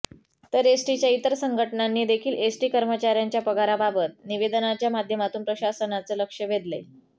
तर एसटीच्या इतर संघटनांनी देखील एसटी कर्मचाऱ्यांच्या पगाराबाबत निवेदनाच्या माध्यमातून प्रशासनाचं लक्ष वेधलंय